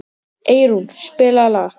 Eyrún, spilaðu lag.